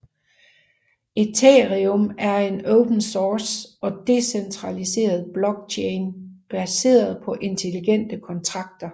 Ethereum er en open source og decentraliseret blockchain baseret på intelligente kontrakter